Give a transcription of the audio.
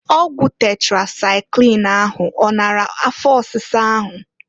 Ọgwụ tetrasaịklin ahụ ọ nara afọ ọsisa ahụ?